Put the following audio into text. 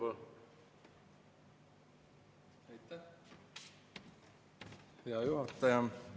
Hea juhataja!